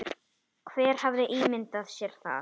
Hver hefði ímyndað sér það?